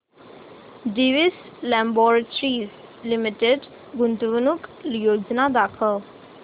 Divi's laboratories limited गुंतवणूक योजना दाखव